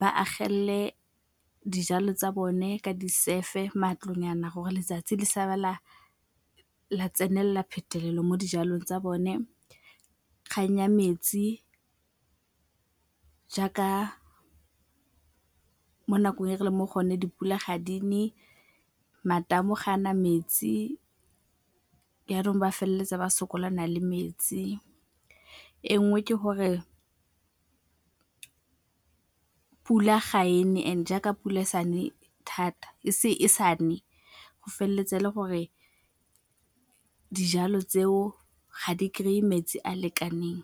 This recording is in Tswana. ba agelele dijalo tsa bone ka disefe, matlo nyana gore letsatsi le sa ba la tsenelela phetelelo mo dijalong tsa bone. Kgang ya metsi jaaka mo nakong e re leng mo go yone dipula ga di ne, matamo gaana metsi jaanong ba feleletsa ba sokolana le metsi. E nngwe ke gore pula ga e ne and jaaka pula e sa ne thata e sa ne go feleletsa e le gore dijalo tseo ga di kry-e metsi a lekaneng.